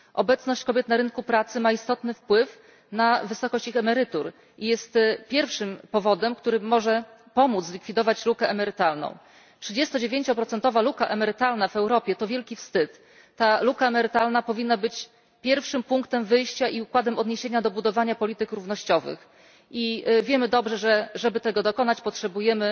Obecność kobiet na rynku pracy ma istotny wpływ na wysokość ich emerytur i jest pierwszym powodem, który może pomóc zlikwidować lukę emerytalną 39 procentowa luka emerytalna w Europie to wielki wstyd, ta luka emerytalna powinna być pierwszym punktem wyjścia i układem odniesienia do budowania polityk równościowych, i wiemy dobrze, że żeby tego dokonać potrzebujemy